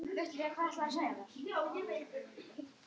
Ég þekki að minnsta kosti minn.